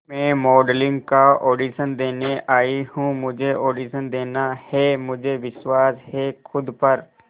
मैं मॉडलिंग का ऑडिशन देने आई हूं मुझे ऑडिशन देना है मुझे विश्वास है खुद पर